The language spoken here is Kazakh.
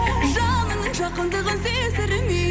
жанымның жақындығын сездірмей